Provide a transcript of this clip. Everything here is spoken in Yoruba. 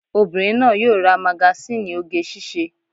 Obìnrin náà yóò ra magasíìnì oge síṣe